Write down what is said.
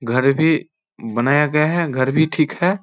घर भी बनाया गया है घर भी ठीक है।